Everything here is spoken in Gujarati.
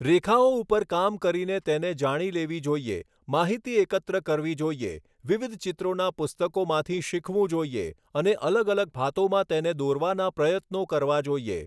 રેખાઓ ઉપર કામ કરીને તેને જાણી લેવી જોઈએ માહિતી એકત્ર કરવી જોઈએ વિવિધ ચિત્રોના પુસ્તકોમાંથી શીખવું જોઈએ અને અલગ અલગ ભાતોમાં તેને દોરવાના પ્રયત્નો કરવા જોઈએ